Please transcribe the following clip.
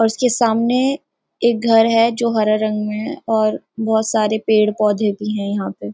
और उसके सामने एक घर है जो हरा रंग में है और बहुत सारे पेड़-पौधे भी हैं यहाँ पे --